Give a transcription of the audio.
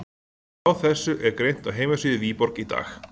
Frá þessu er greint á heimasíðu Viborg í dag.